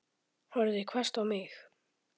Horfði hvasst á mig.